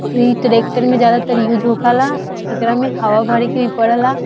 ई ट्रैक्टर में ज्यादातर यूज होखेला | ऐकरा में हवा भरी के पडेला |